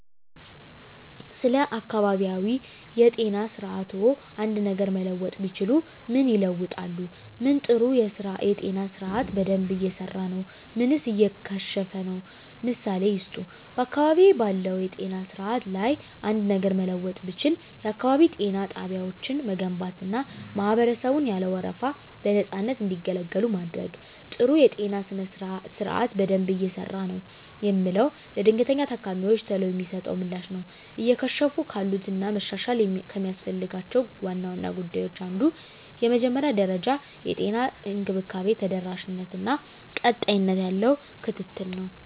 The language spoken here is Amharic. ስለ አካባቢያዊ የጤና ስርዓትዎ አንድ ነገር መለወጥ ቢችሉ ምን ይለውጣሉ? ምን ጥሩ የጤና ስርአት በደንብ እየሰራ ነው ምንስ እየከሸፈ ነው? ምሳሌ ይስጡ። *በአካባቢዬ ባለው የጤና ስርዓት ላይ አንድ ነገር ለመለወጥ ብችል፣ *የአካባቢ ጤና ጣቢያዎችን መገንባትና ማህበረሰቡን ያለ ወረፋ በነፃነት እንዲገለገሉ ማድረግ። *ጥሩ የጤና ስርዓት በደንብ እየሰራ ነው የምለው፦ ለድንገተኛ ታካሚወች ቶሎ የሚሰጠው ምላሽ ነው። *እየከሸፉ ካሉት እና መሻሻል ከሚያስፈልጋቸው ዋና ዋና ጉዳዮች አንዱ የመጀመሪያ ደረጃ የጤና እንክብካቤ ተደራሽነት እና ቀጣይነት ያለው ክትትል ነው።